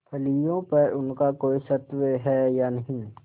फलियों पर उनका कोई स्वत्व है या नहीं